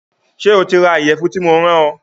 Ṣé o ti ra ìyẹ̀fun tí mo rán ọ